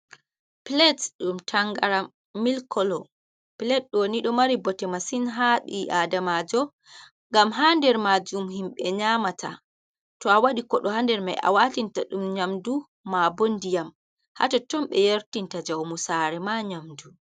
Pilet ɗum tangaram milkolo, pilet ɗoni ɗo mari bote masin ha ɓi adamajo ngam hander majum himɓe nyamata to a waɗi kodo hander mai a watinta ɗum nyamdu, ma bo ndiyam, hatotton ɓe watinta jawmu sare ma nyamdu.